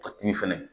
A tun fɛnɛ